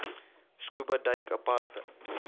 scuba duik aparte